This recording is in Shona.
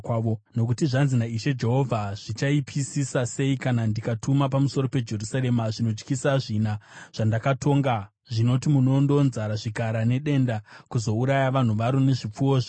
“Nokuti zvanzi naIshe Jehovha: Zvichaipisisa sei kana ndikatuma pamusoro peJerusarema zvinotyisa zvina zvandakatonga, zvinoti munondo, nzara, zvikara nedenda, kuzouraya vanhu varo nezvipfuwo zvaro!